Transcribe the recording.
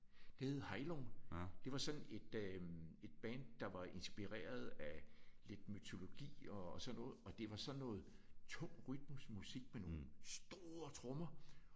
Det hed Heilung. Det var sådan et øh et band der var inspireret af lidt mytologi og og sådan noget. Og det var sådan noget tungt rytmisk musik med nogle store trommer